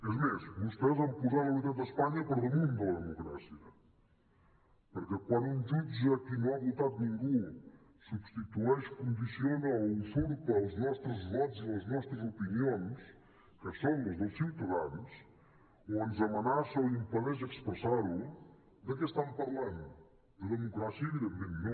és més vostès han posat la unitat d’espanya per damunt de la democràcia perquè quan un jutge a qui no ha votat ningú substitueix condiciona o usurpa els nostres vots i les nostres opinions que són les dels ciutadans o ens amenaça o impedeix expressar ho de què estam parlant de democràcia evidentment no